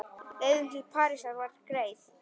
Leiðin til Parísar var greið.